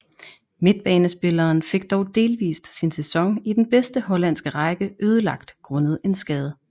Midtbanespilleren fik dog delvist sin sæson i den bedste hollandske række ødelagt grundet en skade